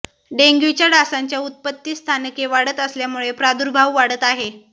डेंग्यूच्या डासांच्या उत्पत्तिस्थानके वाढत असल्यामुळे प्रादुर्भाव वाढत आहे